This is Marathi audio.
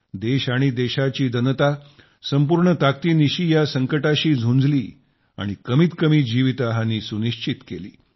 देश आणि देशाची जनता संपूर्ण ताकदीनिशी या संकटाशी झुंजला आणि कमीतकमी जीवितहानी सुनिश्चित केली